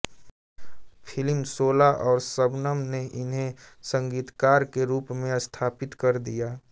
film Shola और शबनम ने उन्हें संगीतकार के रूप में स्थापित कर दिया